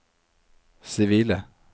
sivile